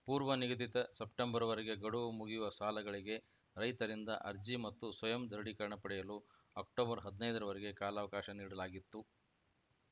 ಪೂರ್ವ ನಿಗದಿತ ಸೆಪ್ಟೆಂಬರ್‌ವರೆಗೆ ಗಡುವು ಮುಗಿಯುವ ಸಾಲಗಳಿಗೆ ರೈತರಿಂದ ಅರ್ಜಿ ಮತ್ತು ಸ್ವಯಂ ದೃಢೀಕರಣ ಪಡೆಯಲು ಅಕ್ಟೋಬರ್‌ ಹದಿನೈದರ ವರೆಗೆ ಕಾಲಾವಕಾಶ ನೀಡಲಾಗಿತ್ತು